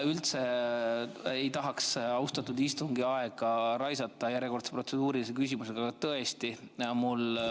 Üldse ei tahaks austatud istungi aega raisata järjekordse protseduurilise küsimusega, aga tõesti, mul …